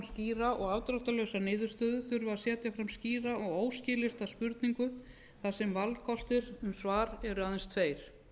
skýra og afdráttarlausa niðurstöðu þurfi að setja fram skýra og óskilyrta spurningu þar sem valkostir um svar eru aðeins tveir